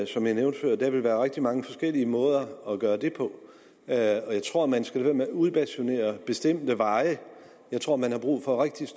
som jeg nævnte før at der vil være rigtig mange forskellige måder at gøre det på og jeg tror man skal lade være med at udbasunere bestemte veje jeg tror man har brug for rigtig